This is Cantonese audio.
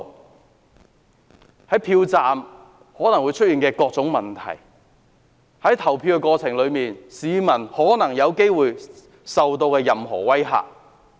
我們不希望看到票站出現任何問題，或市民在投票過程中受到任何威嚇。